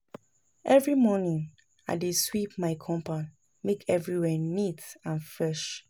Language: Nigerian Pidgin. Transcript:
Every morning, I dey sweep my compound make everywhere neat and fresh